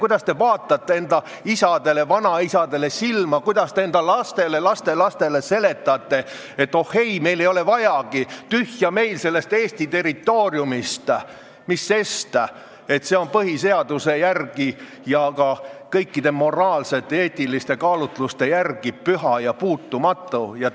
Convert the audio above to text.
Kuidas te vaatate enda isadele ja vanaisadele silma, kuidas te enda lastele ja lastelastele seletate, et oh ei, meile ei ole seda vajagi, tühja meil sellest Eesti territooriumist, mis sest, et see on põhiseaduse järgi ja ka kõikide moraalsete ja eetiliste kaalutluste järgi püha ja puutumatu?